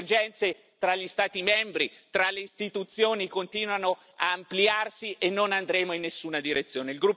Le divergenze tra gli Stati membri e tra le istituzioni continuano ad ampliarsi e non andremo in nessuna direzione.